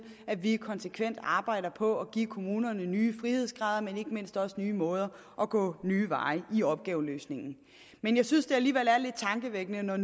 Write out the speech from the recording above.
at vi konsekvent arbejder på at give kommunerne nye frihedsgrader og ikke mindst også nye måder at gå nye veje på i opgaveløsningen men jeg synes alligevel at det er lidt tankevækkende når